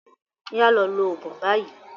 Oya lọ lo oògùn rẹ báyìí.